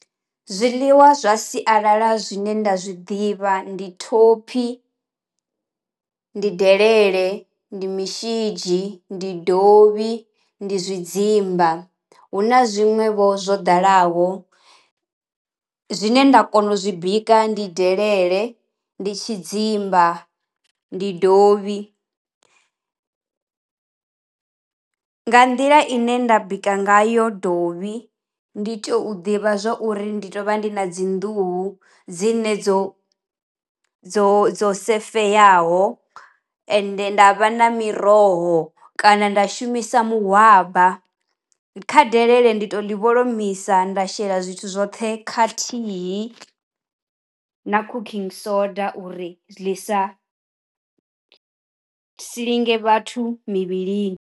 Zwiḽiwa zwa sialala zwine nda zwiḓivha ndi thophi, ndi delele, ndi mushidzhi ndi dovhi ndi zwidzimula hu na zwiṅwevho zwo dalaho. Zwine nda kona u zwi bika ndi delele, ndi tshidzimba, ndi dovhi, nga nḓila ine nda bika nga yo dovhi ndi tea u ḓivha zwa uri ndi to vha ndi na dzi nḓuhu dzi ne dzo dzo dzo safeyaho ende nda vha na miroho kana nda shumisa muhwabama, kha delele ndi to ḽi vholomisa nda shela zwithu zwoṱhe khathihi na cooking soda uri ḽi sa silinge vhathu mivhilini.